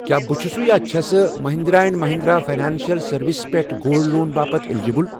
کیٛاہ بہٕ چھُسہٕ یاچھَسہٕ Mahindra and Mahindra financial services پٮ۪ٹھٕ گولڈ لون باپتھ الیجبل؟